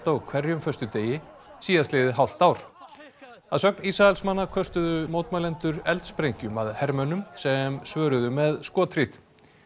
á hverjum föstudegi síðastliðið hálft ár að sögn Ísraelsmanna köstuðu mótmælendur að hermönnum sem svöruðu með skothríð